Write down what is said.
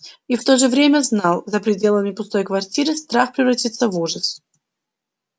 и в то же время знал за пределами пустой квартиры страх превратится в ужас